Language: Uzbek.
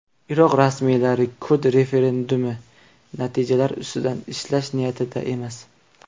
Iroq rasmiylari kurd referendumi natijalari ustida ishlash niyatida emas.